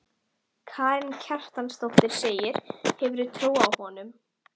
Karen Kjartansdóttir: Hefurðu trú á honum?